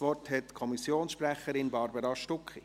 Das Wort hat die Kommissionssprecherin, Barbara Stucki.